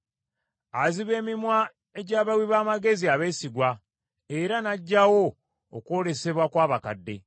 Aziba emimwa egy’abawi b’amagezi abeesigwa, era n’aggyawo okwolesebwa kw’abakadde.